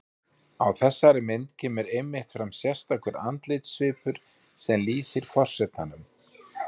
Á þessari mynd kemur einmitt fram sérstakur andlitssvipur sem lýsir forsetanum.